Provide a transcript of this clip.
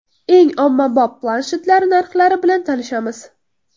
Eng ommabop planshetlar narxlari bilan tanishamiz.